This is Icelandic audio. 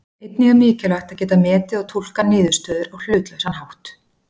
Einnig er mikilvægt að geta metið og túlkað niðurstöður á hlutlausan hátt.